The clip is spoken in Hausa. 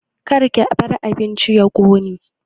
Karki bar abincin ya ƙone